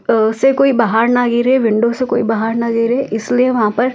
अ से कोई बाहर ना गिरे विंडो से कोई बाहर ना गिरे इसलिए वहां पर--